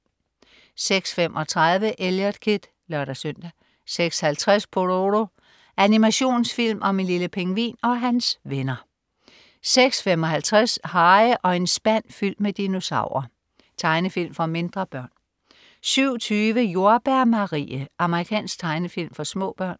06.35 Eliot Kid (lør-søn) 06.50 Pororo. Animationsfilm om en lille pingvin og hans venner 06.55 Harry og en spand fyldt med dinosaurer. Tegnefilm for mindre børn 07.20 Jordbær Marie. Amerikansk tegnefilm for små børn